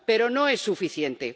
Pero no es suficiente.